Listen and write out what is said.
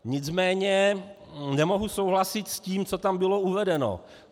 Nicméně nemohu souhlasit s tím, co tam bylo uvedeno.